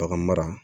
Bagan mara